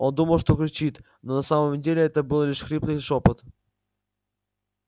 он думал что кричит но на самом деле это был лишь хриплый шёпот